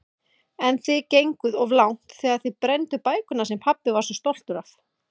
En þið genguð of langt þegar þið brennduð bækurnar sem pabbi var svo stoltur af.